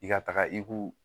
I ka taga i ku